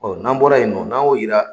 Ɔn n'an bɔra yen nɔ, nan y'o yira